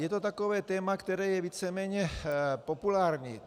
Je to takové téma, které je víceméně populární.